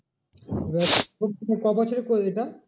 এবার কবছরের করলি এটা?